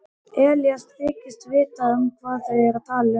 Elías þykist vita hvað þau eru að tala um.